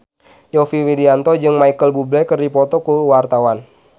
Yovie Widianto jeung Micheal Bubble keur dipoto ku wartawan